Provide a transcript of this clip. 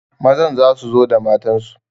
Mazan za su zo da matansu